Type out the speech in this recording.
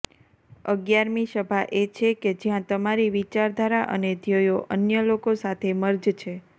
અગિયારમી સભા એ છે કે જ્યાં તમારી વિચારધારા અને ધ્યેયો અન્ય લોકો સાથે મર્જ છે